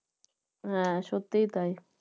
হ্যাঁ সত্যিই তাই